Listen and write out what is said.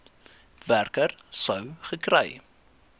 werker sou gekry